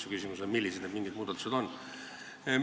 Ja küsimus on selles, millised need muudatused võiksid olla.